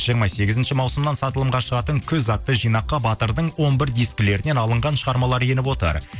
жиырма сегізінші маусымнан сатылымға шығатын күз атты жинаққа батырдың он бір дискілерінен алынған шығармалары еніп отыр